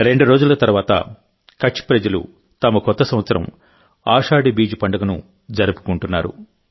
రెండు రోజుల తరువాతకచ్ ప్రజలు తమ కొత్త సంవత్సరం ఆషాఢీ బీజ్ ను జరుపుకుంటున్నారు